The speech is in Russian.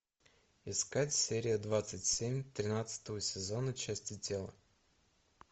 искать серия двадцать семь тринадцатого сезона части тела